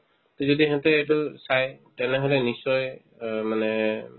সেনকেতো চাই তেনেহ'লে নিশ্চয় অহ্ মানে